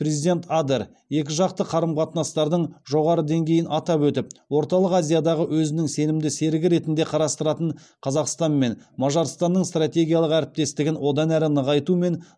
президент адер екіжақты қарым қатынастардың жоғары деңгейін атап өтіп орталық азиядағы өзінің сенімді серігі ретінде қарастыратын қазақстанмен мажарстанның стратегиялық әріптестігін одан әрі нығайту мен